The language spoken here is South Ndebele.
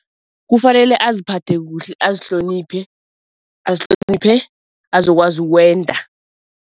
Kufanele aziphathe kuhle azihloniphe, azihloniphe azokwazi ukwenda.